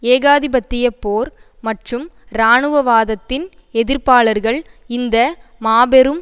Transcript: ஏகாதிபத்திய போர் மற்றும் இராணுவவாதத்தின் எதிர்ப்பாளர்கள் இந்த மாபெரும்